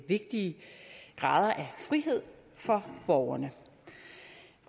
vigtige grader af frihed for borgerne